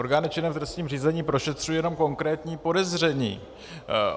Orgány činné v trestním řízení prošetřují jenom konkrétní podezření.